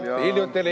Jah, hiljuti oli.